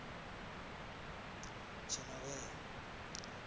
tshinovhea